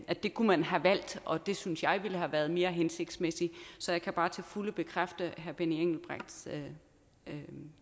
at det kunne man have valgt og det synes jeg ville have været mere hensigtsmæssigt så jeg kan bare til fulde bekræfte herre benny engelbrechts